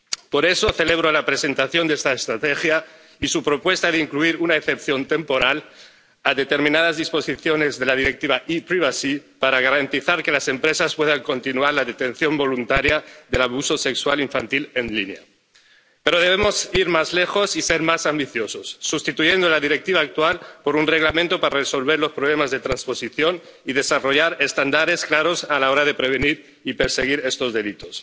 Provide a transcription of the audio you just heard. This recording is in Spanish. Por eso celebro la presentación de esta estrategia y su propuesta de incluir una excepción temporal a determinadas disposiciones de la Directiva sobre la privacidad y las comunicaciones electrónicas para garantizar que las empresas puedan continuar la detección voluntaria del abuso sexual infantil en línea. Pero debemos ir más lejos y ser más ambiciosos, sustituyendo la Directiva actual por un Reglamento para resolver los problemas de transposición y desarrollar estándares claros a la hora de prevenir y perseguir estos delitos.